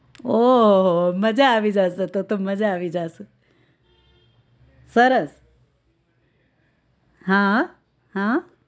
ઓહ્હ્હો મજા આવી જાશે તો તો મજા આવી જાશે સરસ હા હા હા